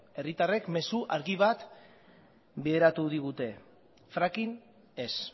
herritarrek mezu argi bat bideratu digute fracking ez